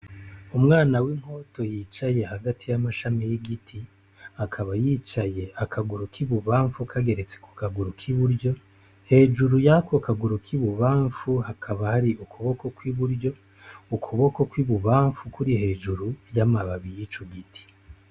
Umwana w'inkoto yicaye hagati y'amashami y'igiti, akaba yicaye akaguru k'ibubamfu kageretse kugaru k'iburyo, hejuru yako kaguru k'ibubamfu hakaba hari ukuboko kw'iburyo, ukuboko kw'ibubamfu kuri hejuru y'amababi y'ico giti.